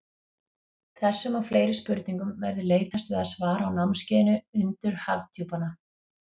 Þessum og fleiri spurningum verður leitast við að svara á námskeiðinu Undur Hafdjúpanna.